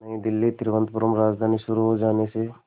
नई दिल्ली तिरुवनंतपुरम राजधानी शुरू हो जाने से